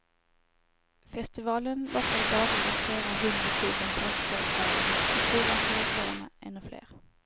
Festivalen lockade dagligen flera hundra tusen festdeltagare, på fyrverkerikvällarna ännu fler.